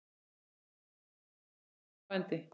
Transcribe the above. Upphaf og endi.